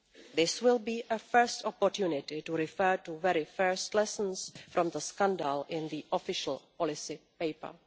This will be a first opportunity to refer to the very first lessons to draw from the scandal in the official policy paper.